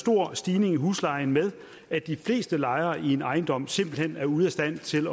stor stigning i huslejen med at de fleste lejere i en ejendom simpelt hen er ude af stand til